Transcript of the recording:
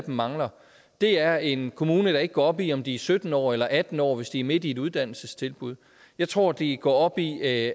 mangler er en kommune der ikke går op i om de er sytten år eller atten år hvis de er midt i et uddannelsestilbud jeg tror de går op i at